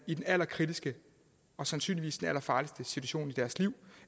i den allerkritiske og sandsynligvis allerfarligste situation i deres liv